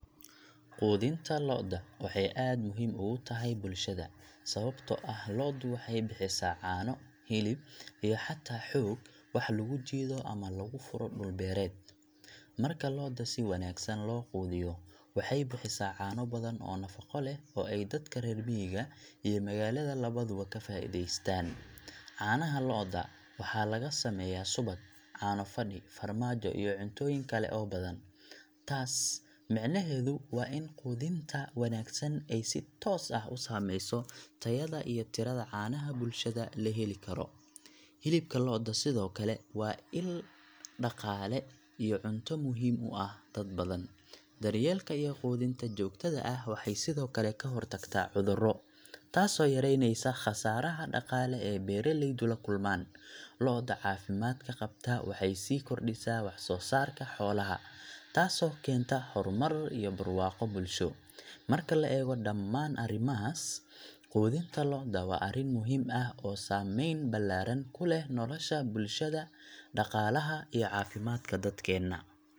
Quudinta lo’da waxay aad muhiim ugu tahay bulshada, sababtoo ah lo’du waxay bixisaa caano, hilib, iyo xataa xoog wax lagu jiido ama lagu furo dhul beereed. Marka lo’da si wanaagsan loo quudiyo, waxay bixisaa caano badan oo nafaqo leh oo ay dadka reer miyiga iyo magaalada labaduba ka faa’iidaystaan. Caanaha lo’da waxaa laga sameeyaa subag, caano fadhi, farmaajo iyo cuntooyin kale oo badan. Taas micnaheedu waa in quudinta wanaagsan ay si toos ah u saameyso tayada iyo tirada caanaha bulshada la heli karo. Hilibka lo’da sidoo kale waa isha dhaqaale iyo cunto muhiim u ah dad badan. Daryeelka iyo quudinta joogtada ah waxay sidoo kale ka hortagtaa cudurro, taasoo yareynaysa khasaaraha dhaqaale ee beeraleydu la kulmaan. Lo’da caafimaadka qabta waxay sii kordhisaa wax-soosaarka xoolaha, taasoo keenta horumar iyo barwaaqo bulsho. Marka la eego dhammaan arrimahaas, quudinta lo’da waa arrin muhiim ah oo saameyn ballaaran ku leh nolosha bulshada, dhaqaalaha, iyo caafimaadka dadkeena.